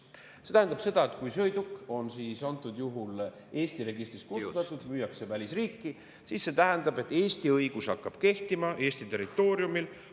See tähendab seda, et kui sõiduk on antud juhul Eesti registrist kustutatud, müüakse välisriiki, siis see tähendab, et Eesti õigus hakkab kehtima Eesti territooriumil.